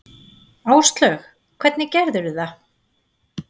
Áslaug: Hvernig gerðirðu það?